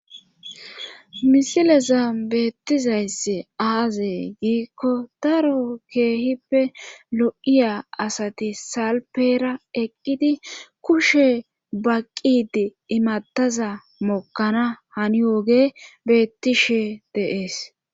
Misileza beettizaysse aazey giikko daro keehippe lo7iya asati salpeera eqqidi kushe baqqidi imataza mokkana hani yooge beettishe dees.